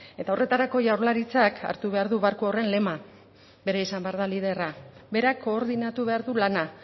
eta horretarako jaurlaritzak hartu behar du barku horren lema bera izan behar da liderra berak koordinatu behar du lana